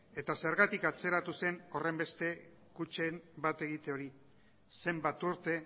eta zergatik atzeratu zen horrenbeste kutxen bat egite hori zenbat urte